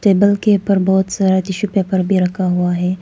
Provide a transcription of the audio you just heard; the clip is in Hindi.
टेबल के ऊपर बहुत सारा टिशू पेपर भी रखा हुआ है।